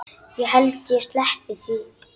Ég held ég sleppi því.